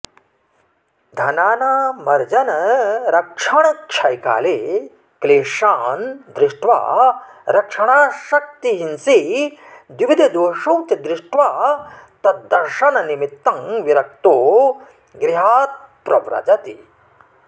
धनानामर्जनरक्षणक्षयकाले क्लेशान् दृष्ट्वा रक्षणासक्तिहिंसे द्विविधदोषौ च दृष्ट्वा तद्दर्शननिमित्तं विरक्तो गृहात्प्रव्रजति